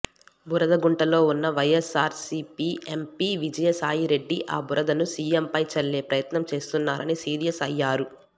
బురదగుంటలో ఉన్న వైఎస్ఆర్సిపి ఎంపి విజయసాయిరెడ్డి ఆ బురదను సియంపై చల్లే ప్రయత్నం చేస్తున్నారని సీరియస్ అయ్యారు